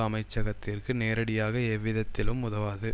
அமைச்சகத்திற்கு நேரடியாக எவ்விதத்திலும் உதவாது